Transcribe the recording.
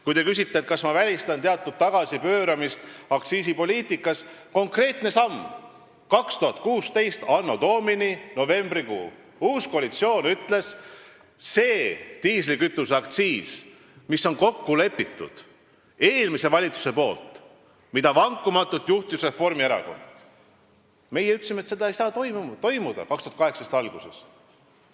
Kui te küsite, kas ma välistan teatud tagasipööramise aktsiisipoliitikas, siis meenutan üht konkreetset sammu: anno Domini 2016 novembrikuus ütles uus koalitsioon, et see diislikütuse aktsiisi tõus, milles oli kokku leppinud eelmine valitsus, mida vankumatult juhtis Reformierakond, ei saa 2018. aasta alguses toimuda.